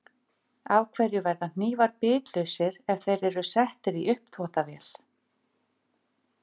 Af hverju verða hnífar bitlausir ef þeir eru settir í uppþvottavél?